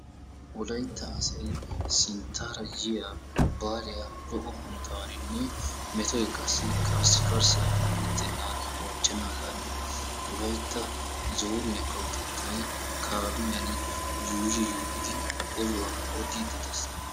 wolaytta asay sinttaara yiyyaa baaliyaa lo''o hanotaninne metoy karssikarssay meretennan bonchchanadan wolaytta zooniyaa kawotettay kaamiyaan yuuyyi yuuyyidi oduwaa odidde dees.